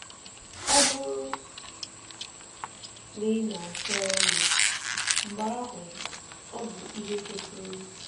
Ọ bụrụ na ị na-achọ ọrụ, mgbe ahụ ọ bụ ihe kwesịrị.